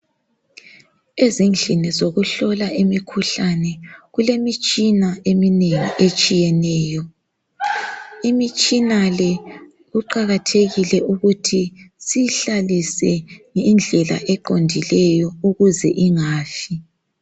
Ezindlini zokuhlola imikhuhlane kulemitshina eminengi etshiyeneyo, imitshina le kuqakathekile ukuthi siyihlalise ngendlela eqondileyo ukuze ingafi.